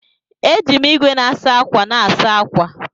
Eji m igwe na-asa ákwà na-asa ákwà.